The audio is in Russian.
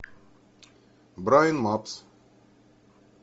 брайн мапс